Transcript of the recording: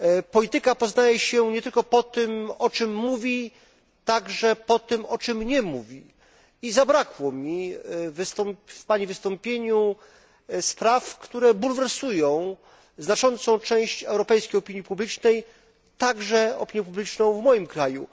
Polityka poznaje się nie tylko po tym, o czym mówi, ale także po tym, o czym nie mówi i zabrakło mi w pani wystąpieniu spraw, które bulwersują znaczącą część europejskiej opinii publicznej, także opinię publiczną w moim kraju.